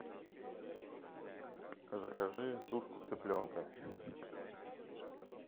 закажи тушку цыпленка